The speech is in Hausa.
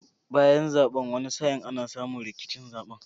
Bayan zaben wani sa'in ana samu rikicin zaben